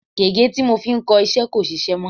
Gègé tí mo fi ń kọ iṣẹ́ kò sisẹ́ mọ́.